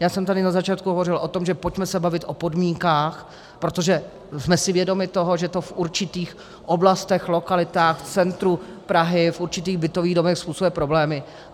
Já jsem tady na začátku hovořil o tom, že pojďme se bavit o podmínkách, protože jsme si vědomi toho, že to v určitých oblastech, lokalitách, v centru Prahy, v určitých bytových domech způsobuje problémy.